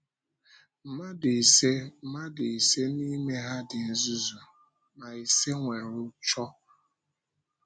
Mmadụ ise Mmadụ ise n’ime ha dị nzuzu, ma ise nwere ụ́chọ.